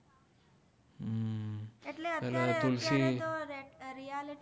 અમ